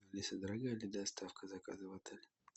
алиса дорогая ли доставка заказа в отель